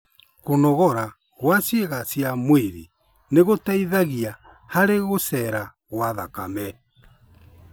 Kũnogora gwa ciĩga cia mwĩrĩ nĩgũteithagia harĩ gũcera gwa thakame